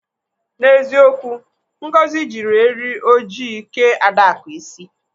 N'eziokwu Ngozi jiri eri ojii kee Adaku isi.